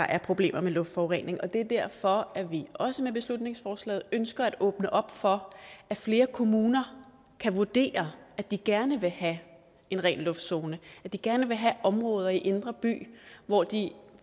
er problemer med luftforurening det er derfor at vi også med beslutningsforslaget ønsker at åbne op for at flere kommuner kan vurdere at de gerne vil have en ren luft zone at de gerne vil have områder i indre by hvor de